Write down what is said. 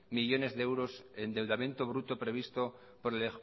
millónes de euros endeudamiento bruto previsto por el